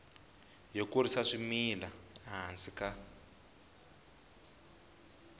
yo kurisa swimila ehansi ka